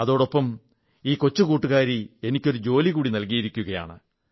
അതോടൊപ്പം ഈ കൊച്ചു കൂട്ടുകാരി എനിക്കൊരു ജോലികൂടി നൽകിയിരിക്കയാണ്